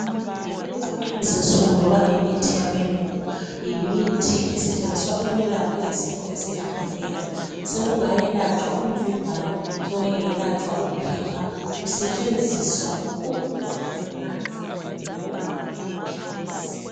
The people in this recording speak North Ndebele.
Kulezinsuku imithi yabelungu yimithi esetshenziswa ukwelapha izifo ezehlukeneyo. Sekungayelatshwa umvimbano, sekungayelatshwa uphepha, kusetshenziswa umuthi ongamanzi, loba amaphilisi.